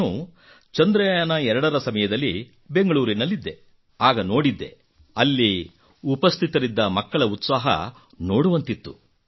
ನಾನು ಚಂದ್ರಯಾನ 2 ರ ಸಮಯದಲ್ಲಿ ಬೆಂಗಳೂರಿನಲ್ಲಿದ್ದೆ ಆಗ ನಾನು ನೋಡಿದ್ದೆ ಅಲ್ಲಿ ಉಪಸ್ಥಿತರಿದ್ದ ಮಕ್ಕಳ ಉತ್ಸಾಹ ನೋಡುವಂತಿತ್ತು